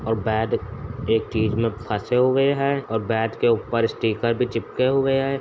और बैट एक चीज मे फंसे हुए हैं और बैट के ऊपर स्टीकर भी चिपके हुए हैं।